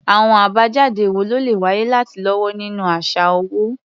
Àwọn àbájáde wo ló lè wáyé láti lọ́wọ́ nínú àṣà owó?